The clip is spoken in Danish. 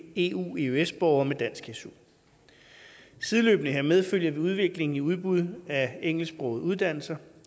eueøs borgere med dansk su sideløbende hermed følger vi udviklingen i udbud af engelsksprogede uddannelser